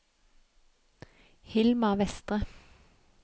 Hilma Vestre